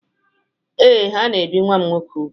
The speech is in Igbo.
Ee, ha na-ebi nwa m nwoke úgwù.